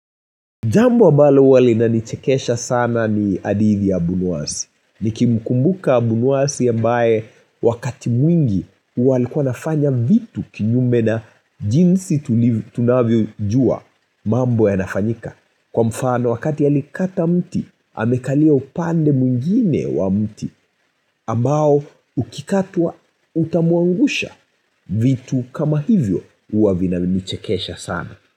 Jambo ambalo huwa inanichekesha sana ni hadithi ya abunwasi. Niki mkumbuka abunwasi ambae wakati mwingi uwalikua nafanya vitu kinyume na jinsi tunavyo jua mambo ya nafanyika. Kwa mfano wakati ya alikata mti, amekalia upande mwingine wa mti. Ambao ukikatua utamuangusha vitu kama hivyo uwa vinanichekesha sana.